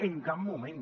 en cap moment